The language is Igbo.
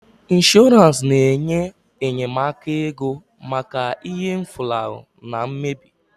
Ịnshọransị na-enye enyemaka ego maka ihe mfulahu na mmebi